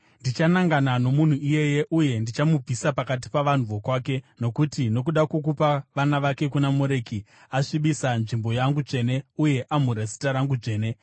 Ndichanangana nomunhu iyeye uye ndichamubvisa pakati pavanhu vokwake, nokuti, nokuda kwokupa vana vake kuna Moreki, asvibisa nzvimbo yangu tsvene uye amhura zita rangu dzvene.